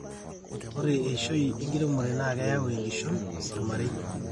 ore eishoi enkiremore naakeyau enkishon tolmarei